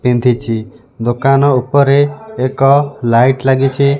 ପିନ୍ଧିଛି ଦୋକାନ ଉପରେ ଏକ ଲାଇଟ୍ ଲାଗିଛି।